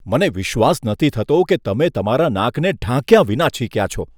મને વિશ્વાસ નથી થતો કે તમે તમારા નાકને ઢાંક્યા વિના છીંક્યા છો.